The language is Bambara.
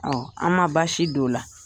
an ma baasi don o la